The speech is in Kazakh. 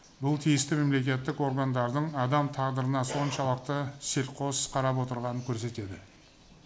бұл тиісті мемлекеттік органдардың адам тағдырына соншалықты селқос қарап отырғанын көрсетеді